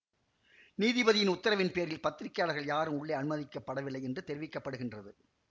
நீதிபதியின் உத்தரவின்பேரில் பத்திரிகையாளர்கள் யாரும் உள்ளே அனுமதிக்கப்படவில்லை என்று தெரிவிக்க படுகின்றது